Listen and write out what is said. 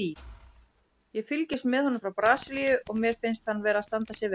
Ég fylgist með honum frá Brasilíu og mér finnst hann vera að standa sig vel.